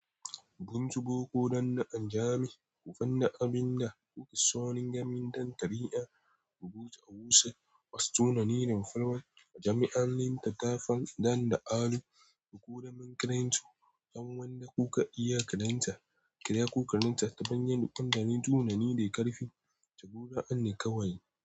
Gunsu boko dan na anjame kofan na abin na kuki sonin gamin dan tari'an rubutu a wusa wasu tunani rimfalwan a jami'an lin ta kafan dan da alu da ko daman karen su ham wanda kuka iya karen ta kira ko karen ta tabanyan duk an dani tunani dai karfi ta gora an ne kawai.